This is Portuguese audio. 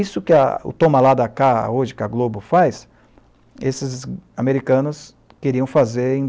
Isso que é o Tom Malada, hoje, que a Globo faz, esses americanos queriam fazer em